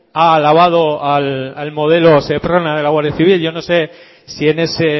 ha alabado al modelo seprona de la guardia civil yo no sé si en ese